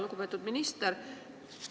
Lugupeetud minister!